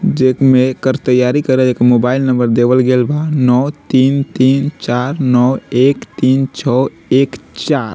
जे में एकर तैयारी करे के एक मोबाइल नंबर देवल गेल बा नौ तीन तीन चार नौ एक तीन छ एक चार ।